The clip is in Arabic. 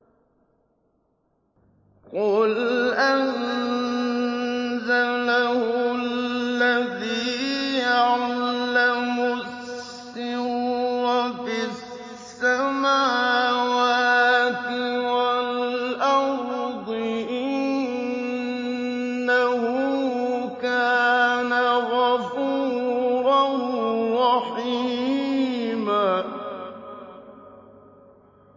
قُلْ أَنزَلَهُ الَّذِي يَعْلَمُ السِّرَّ فِي السَّمَاوَاتِ وَالْأَرْضِ ۚ إِنَّهُ كَانَ غَفُورًا رَّحِيمًا